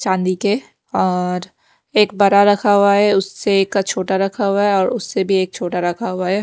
चांदी के और एक बड़ा रखा हुआ है उसे का छोटा रखा हुआ है और उससे भी एक छोटा रखा हुआ है।